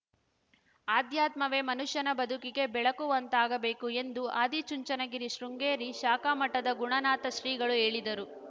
ಆಧ್ಯಾತ್ಮವೇ ಮನುಷ್ಯನ ಬದುಕಿಗೆ ಬೆಳಗುವಂತಾಗಬೇಕು ಎಂದು ಆದಿಚುಂಚನಗಿರಿ ಶೃಂಗೇರಿ ಶಾಖಾ ಮಠದ ಗುಣನಾಥ ಶ್ರೀಗಳು ಹೇಳಿದರು